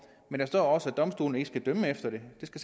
når der også står at domstolene ikke skal dømme efter det det